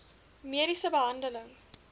mediese behandeling